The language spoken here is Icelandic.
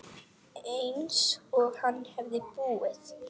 Einsog hann hefði búið.